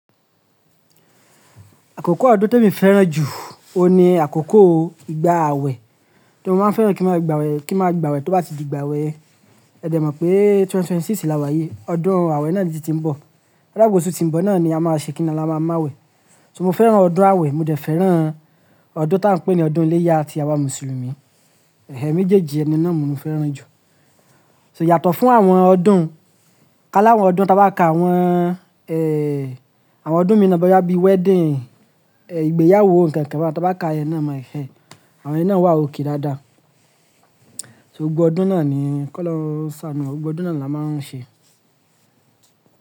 Àkókò ọdún tí emi fẹ́ràn jù, ohun ní àkókò ìgbà àwẹ̀ tori mo máa ń fẹ́ràn kí máa gba wẹ̀ to bá ti di ìgbà wẹ̀ yen. Ẹ dẹ̀ mọ̀ pé 2026 làwà yìí, ọdún àwẹ̀ náà tun tí ń bọ̀. O daa pe oṣù tí ń bọ̀ náà ni a máa ṣe kíni ni a máa má wẹ̀. So mo fẹ́ràn ọdún àwẹ̀, mo dẹ̀ fẹ́ràn ọdún tí à ń pè ní ọdún iléyá ti àwa Mùsùlùmí. Méjèèjì yen náà ni mò fẹ́ràn jù. So yàtọ̀ fún àwọn ọdún hun, kálá àwọn ọdún ta bá ká àwọn ọdún mii ná bóyá bí wedding, ìgbéyàwó nǹkan kan hun ta bá ká iyen náà mo àwọn iyen náa wà okay dáadáa. Gbogbo ọdún náà ni kólọhun sánù wa, gbogbo ọdún náà ni a máa ń ṣe.